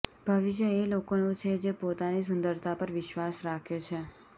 ભવિષ્ય એ લોકોનું છે જે પોતાની સુંદરતા પર વિશ્વાસ રાખે છે